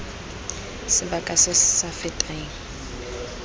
sebaka se se sa feteng